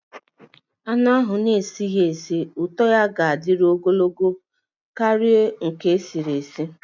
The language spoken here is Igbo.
Anụ ahụ a na-esi ísì ụtọ ga-adịru ogologo oge karịa nke esi nri